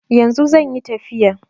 Yanzu zanyi tafiya